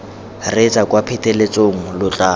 reetsa kwa pheletsong lo tla